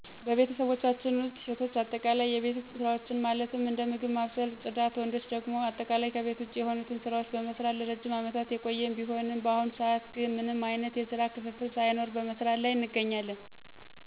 በቤተሰቦቻችን ውስጥ ሴቶች አጠቃላይ የቤት ውስጥ ሰራዎችን ማለትም እንደ ምግብ ማብሰልና ፅዳት፤ ወንዶች ደግሞ አጠቃላይ ከቤት ውጭ የሆኑትን ስራዎችን በመስራት ለረዥም አመታት የቆየን ቢሆንም፤ በአሁኑ ስዓት ግን ምንም አይነት የስራ ክፍፍል ሳይኖር በመስራት ላይ እንገኛለን።